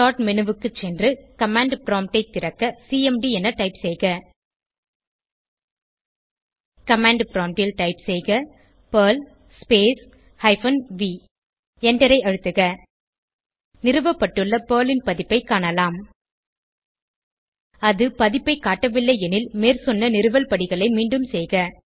start menu க்கு சென்று command prompt ஐ திறக்க சிஎம்டி என டைப் செய்க கமாண்ட் ப்ராம்ப்ட் ல் டைப் செய்க பெர்ல் ஸ்பேஸ் ஹைபன் வி எண்டரை அழுத்துக நிறுவப்பட்டுள்ள பெர்ல் ன் பதிப்பைக் காணலாம் அது பதிப்பைக் காட்டவில்லை எனில் மேற்சொன்ன நிறுவல் படிகளை மீண்டும் செய்க